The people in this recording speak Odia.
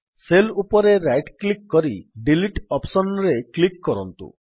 ସେଲ୍ ଉପରେ ରାଇଟ୍ କ୍ଲିକ୍ କରି ଡିଲିଟ୍ ଅପ୍ସନ୍ ରେ କ୍ଲିକ୍ କରନ୍ତୁ